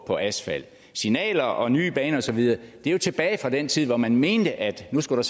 og asfalt signaler og nye baner og så videre er jo tilbage fra den tid hvor man mente at nu skulle